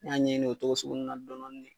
N y'a ɲɛɲini o togo sugu nunnu na dɔn dɔɔni ne